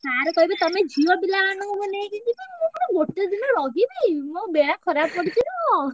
Sir କହିବେ ତମେ ଝିଅପିଲା ମାନଙ୍କୁ ମାନେ ମୁଁ ନେଇକି ଯିବି ମୁଁ ପୁଣି ଗୋଟେ ଦିନ ରହିବି ମୋ ବେଳା ଖରାପ ପଡିଛି ତ।